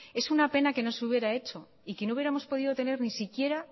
es una pena que no se hubiera hecho y que no hubiéramos podido tener ni siquiera